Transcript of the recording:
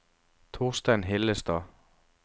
Torstein Hillestad